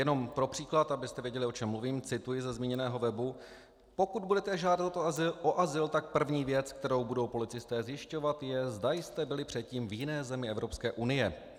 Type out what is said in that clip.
Jenom pro příklad, abyste věděli, o čem mluvím, cituji ze zmíněného webu: Pokud budete žádat o azyl, tak první věc, kterou budou policisté zjišťovat, je, zda jste byli předtím v jiné zemi Evropské unie.